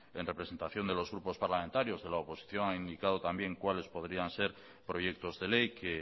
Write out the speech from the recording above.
en representación de los grupos parlamentarios que la oposición ha indicado también cuáles podrían ser proyectos de ley que